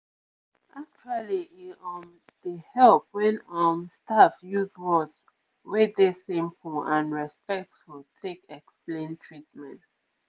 actually e um dey help wen um staff use words wey dey simple and respectful take explain treatment